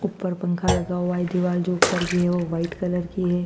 ऊपर पंखा लगा हुआ है दीवाल जो ऊपर की है वो वाइट कलर की है।